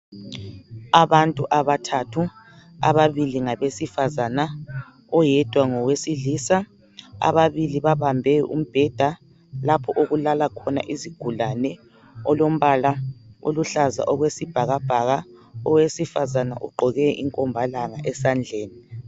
Abantu abathathu ababili ngabesifazana oyedwa ngowesilisa ababili babambe umbheda lapho okulala khona izigulane olombala oluhlaza okwesibhakabhaka owesifazana ugqoke inkombalanga esandleni.